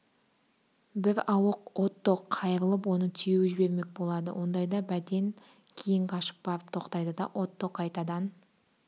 бір ауық отто қайырылып оны теуіп жібермек болады ондайда бәтен кейін қашып барып тоқтайды да отто қайтадан